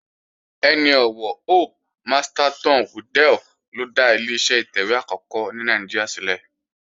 Ẹni ọ̀wọ̀ Hope Masterton Waddell ló dá Ileṣẹ́ ìtẹ̀wé àkọ́kọ́ ní Nàìjíríà sílẹ̀